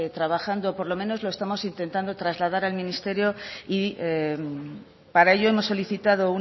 trabajando por lo menos lo estamos intentando trasladas al ministerio y para ello hemos solicitado